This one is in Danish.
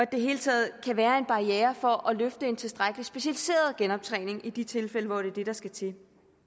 det hele taget kan være en barriere for at løfte en tilstrækkelig specialiseret genoptræning i de tilfælde hvor det er det der skal til